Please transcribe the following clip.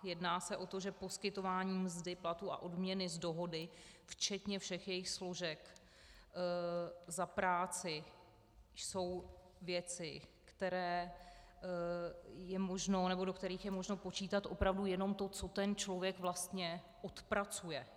Jedná se o to, že poskytování mzdy, platů a odměny z dohody včetně všech jejich složek za práci jsou věci, do kterých je možno počítat opravdu jenom to, co ten člověk vlastně odpracuje.